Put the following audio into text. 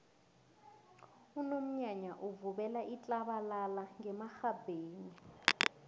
unomnyanya uvubela itlabalala ngemarhabheni